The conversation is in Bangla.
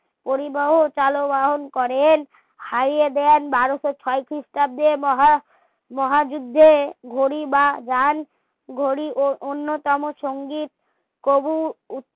পরিবাহ টালবাহনা করেন হারিয়ে দেন বারোসো ছয় ক্রিস্টাব্দে মহা যুদ্ধে ঘড়ি বা যান ঘড়ি ও অন্য কোনো সংগিক তবু